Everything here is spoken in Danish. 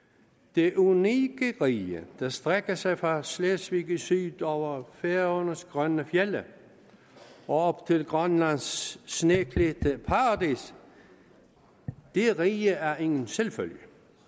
det unikke rige der strækker sig fra slesvig i syd over færøernes grønne fjelde op til grønlands sneklædte paradis det rige er ingen selvfølge